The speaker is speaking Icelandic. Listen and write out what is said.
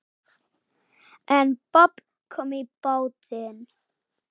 En babb kom í bátinn.